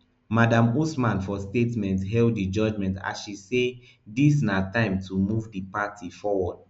madam usman for statement hail di judgement as she say dis na time to move di party forward